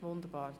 – Wunderbar.